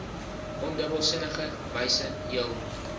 ondubbelsinnige wyse jul